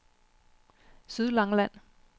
Sydlangeland